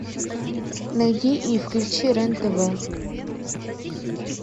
найди и включи рен тв